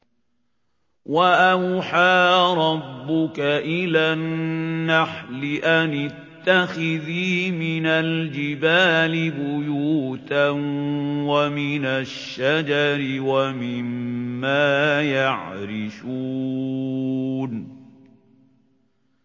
وَأَوْحَىٰ رَبُّكَ إِلَى النَّحْلِ أَنِ اتَّخِذِي مِنَ الْجِبَالِ بُيُوتًا وَمِنَ الشَّجَرِ وَمِمَّا يَعْرِشُونَ